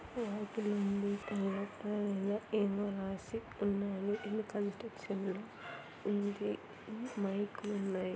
లోపల ఉంది. ఏమో రాసి ఉన్నాయి. ఉంది. ఉమ్ మైకులు ఉన్నాయి.